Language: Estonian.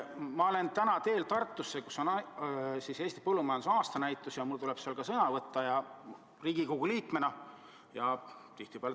Ma sõidan täna Tartusse, kus on Eesti põllumajanduse aastanäitus ja mul tuleb seal Riigikogu liikmena sõna võtta.